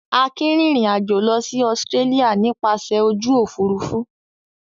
Akin rìnrìn-àjò lọ sí Australia nípasẹ̀ ojú òfurufú.